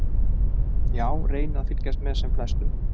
Já reyni að fylgjast með sem flestum.